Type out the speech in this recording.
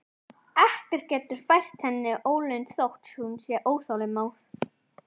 Ekkert getur fært henni ólund þótt hún sé óþolinmóð.